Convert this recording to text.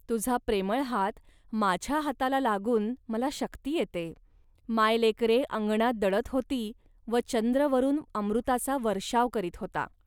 तुझा प्रेमळ हात माझ्या हाताला लागून मला शक्ती येते. मायलेकरे अंगणात दळत होती व चंद्र वरून अमृताचा वर्षाव करीत होता